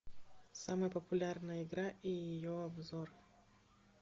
самая популярная игра и ее обзор